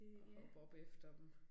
At hoppe efter dem